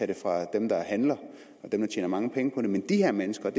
det fra dem der handler og dem der tjener mange penge på det men de her mennesker